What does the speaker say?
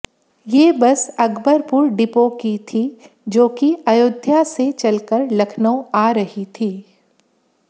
ये bus Akbarpur depot की थी जोकि अयोध्या से चलकर लखनऊ आ रही थी